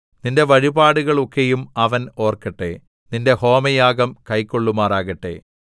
നിന്റെ വഴിപാടുകൾ ഒക്കെയും അവൻ ഓർക്കട്ടെ നിന്റെ ഹോമയാഗം കൈക്കൊള്ളുമാറാകട്ടെ സേലാ